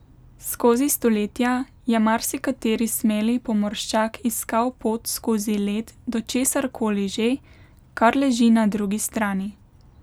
Skozi stoletja je marsikateri smeli pomorščak iskal pot skozi led do česar koli že, kar leži na drugi strani.